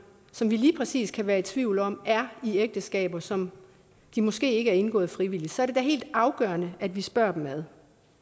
som vi lige præcis kan være i tvivl om er i ægteskaber som de måske ikke har indgået frivilligt så er det da helt afgørende at vi spørger dem ad